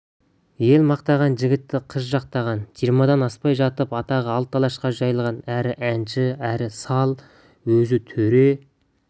ел мақтаған жігітті қыз жақтаған жиырмадан аспай жатып атағы алты алашқа жайылған әрі әнші әрі сал өзі төре